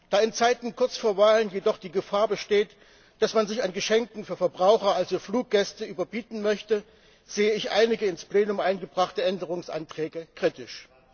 Da in Zeiten kurz vor Wahlen jedoch die Gefahr besteht, dass man sich an Geschenken für Verbraucher, also für Fluggäste, überbieten möchte, sehe ich einige im Plenum eingebrachte Änderungsanträge kritisch.